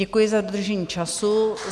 Děkuji za dodržení času.